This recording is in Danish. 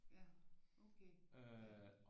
Ja okay ja